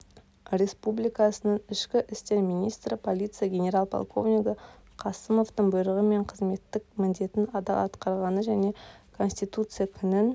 республикасының ішкі істер министрі полиция генерал-полковнигі қасымовтың бұйрығымен қызметтік міндетін адал атқарғаны және конституция күнін